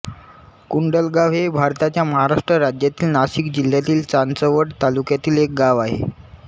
कुंडलगाव हे भारताच्या महाराष्ट्र राज्यातील नाशिक जिल्ह्यातील चांदवड तालुक्यातील एक गाव आहे